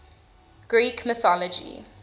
greek mythology